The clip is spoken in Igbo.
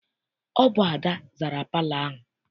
Ọ bụ Ada zara palọ ahụ.